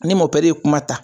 Ni ye kuma ta.